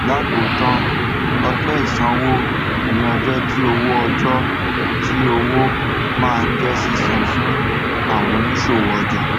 lákòótán ọjọ ìṣanwó ni ọjọ tí owó ọjọ tí owó maa ń jẹ sísan fún àwọn òníṣòwò ọjà